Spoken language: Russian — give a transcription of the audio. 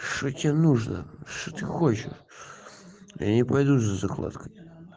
что тебе нужно что ты хочешь я не пойду за закладкой